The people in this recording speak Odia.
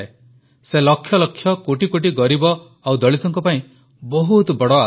ସେ ଲକ୍ଷଲକ୍ଷକୋଟିକୋଟି ଗରିବ ଓ ଦଳିତଙ୍କ ପାଇଁ ବହୁତ ବଡ଼ ଆଶା